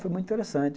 Foi muito interessante.